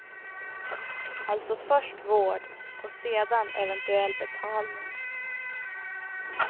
Alltså först vård och sedan eventuell betalning.